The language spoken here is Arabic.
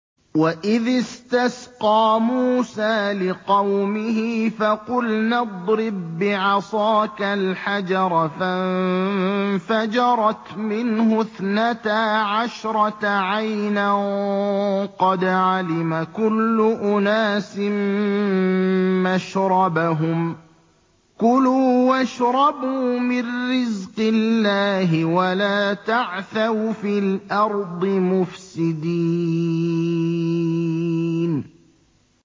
۞ وَإِذِ اسْتَسْقَىٰ مُوسَىٰ لِقَوْمِهِ فَقُلْنَا اضْرِب بِّعَصَاكَ الْحَجَرَ ۖ فَانفَجَرَتْ مِنْهُ اثْنَتَا عَشْرَةَ عَيْنًا ۖ قَدْ عَلِمَ كُلُّ أُنَاسٍ مَّشْرَبَهُمْ ۖ كُلُوا وَاشْرَبُوا مِن رِّزْقِ اللَّهِ وَلَا تَعْثَوْا فِي الْأَرْضِ مُفْسِدِينَ